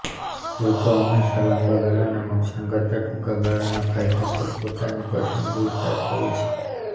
લોકો હંમેશાં લાંબા ગાળાના નુકસાન કરતાં ટૂંકા ગાળાના ફાયદા પર પોતાની પસંદગી ઉતારતા હોય છે